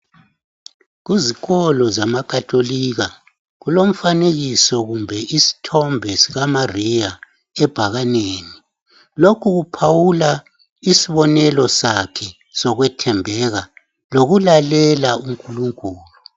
Kuzikolo zemakatolika kulomfanekisithombenisithombe sikaMariya ebhakaneni. Lokhu kuphawula isibonelo sakhe sokwethembeka lokulalela UNkulunkulu.